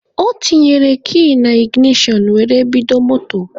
O tinyere kii na iginashọn were bido moto.